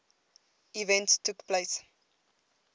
events took place